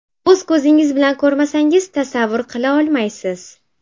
O‘z ko‘zingiz bilan ko‘rmasangiz tasavvur qila olmaysiz.